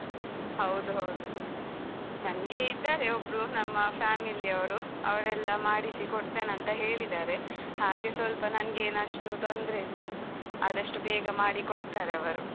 ಹೌದು ಹೌದು. ನಂಗೆ ಇದ್ದಾರೆ ಒಬ್ರು ನಮ್ಮ family ಅವರು, ಅವರೆ ಎಲ್ಲ ಮಾಡಿಸಿ ಕೊಡ್ತೇನೆ ಅಂತ ಹೇಳಿದ್ದಾರೆ. ಹಾಗೆ ಸ್ವಲ್ಪ ನಂಗೇನಷ್ಟು ತೊಂದ್ರೆ ಇಲ್ಲ ಆದಷ್ಟು ಬೇಗ ಮಾಡಿ ಕೊಡ್ತರೆ ಅವರು.